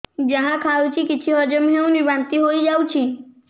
ଯାହା ଖାଉଛି କିଛି ହଜମ ହେଉନି ବାନ୍ତି ହୋଇଯାଉଛି